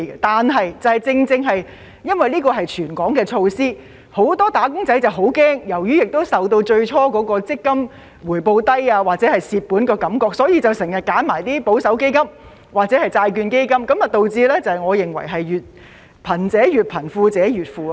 但是，正正因為這是全港的措施，很多"打工仔"十分害怕，亦受到最初強積金回報低或虧本的感覺所影響，所以經常揀選一些保守基金或債券基金，導致我認為是"貧者越貧，富者越富"的情況。